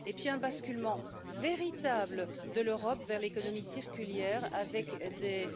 ici et puis un basculement véritable de l'Europe vers l'économie circulaire avec des